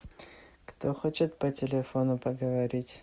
кто хочет по телефону поговорить